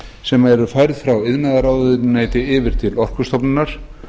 sem eru færð frá iðnaðarráðuneyti yfir til orkustofnunar